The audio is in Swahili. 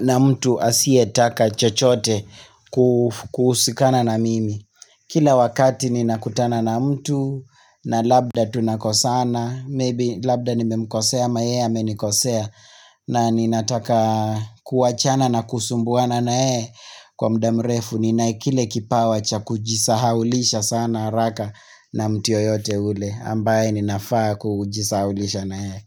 na mtu asiyetaka chochote kuhusikana na mimi. Kila wakati nina kutana na mtu na labda tunakosana, maybe labda nimemkosea ama yeye amenikosea na ninataka kuachana na kusumbuana na yeye kwa mudamrefu ninakile kipawa cha kujisahaulisha sana haraka na mtu yote ule. Ambaye ni nafaa kujisaulisha na yeye.